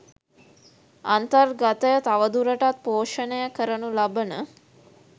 අන්තර්ගතය තවදුරටත් පෝෂණය කරනු ලබන